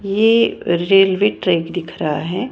ये railway track दिख रहा है।